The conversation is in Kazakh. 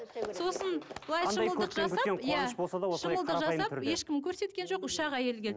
сосын былай шымылдық жасап иә шымылдық жасап ешкім көрсеткен жоқ үш ақ әйел келді